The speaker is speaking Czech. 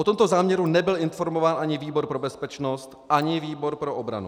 O tomto záměru nebyl informován ani výbor pro bezpečnost, ani výbor pro obranu.